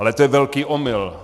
Ale to je velký omyl.